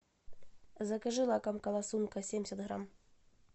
закажи лакомка ласунка семьдесят грамм